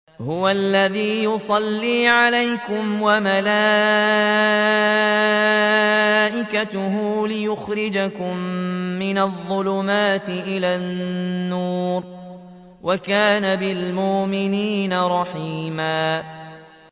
هُوَ الَّذِي يُصَلِّي عَلَيْكُمْ وَمَلَائِكَتُهُ لِيُخْرِجَكُم مِّنَ الظُّلُمَاتِ إِلَى النُّورِ ۚ وَكَانَ بِالْمُؤْمِنِينَ رَحِيمًا